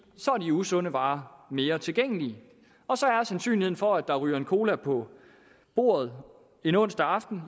så er de usunde varer mere tilgængelige og så er sandsynligheden for at der ryger en cola på bordet en onsdag aften